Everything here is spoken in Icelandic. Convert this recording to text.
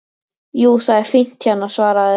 Jú, það er fínt hérna svaraði